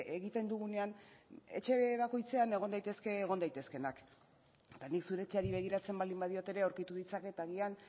egiten dugunean etxe bakoitzean egon daitezke egon daitezkeenak eta nik zure etxeari begiratzen baldin badiot ere aurkitu ditzaket agian